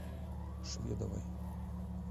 шведовой